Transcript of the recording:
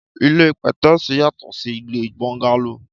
Ìlé pẹtẹsi yàtọ si ìlé bọńgàló